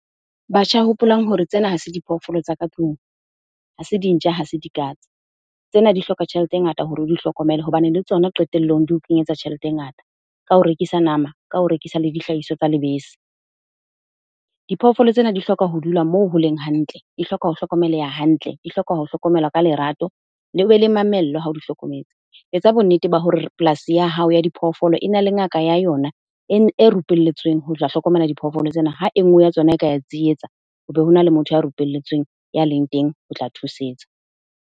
Batjha, hopolang hore tsena ha se diphoofolo tsa ka tlung. Ha se dintja, ha se dikatse. Tsena di hloka tjhelete e ngata hore o di hlokomele hobane le tsona qetellong di o kenyetsa tjhelete e ngata. Ka ho rekisa nama, ka ho rekisa le dihlahiswa tsa lebese. Diphoofolo tsena di hloka ho dula moo holeng hantle, di hloka ho hlokomeleha hantle, di hloka ho hlokomelwa ka lerato, le be le mamello hao di hlokometse. Etsa bonnete ba hore polasi ya hao ya diphoofolo ena le ngaka ya yona, e e rupelletsweng ho tla hlokomela diphoofolo tsena ha e nngwe ya tsona e ka ya tsietsa, ho be ho na le motho ya rupelletsweng, ya leng teng ho tla thusetsa.